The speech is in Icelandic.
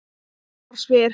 Ég bara spyr